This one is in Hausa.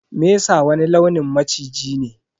Mesa wani launin maciji ne.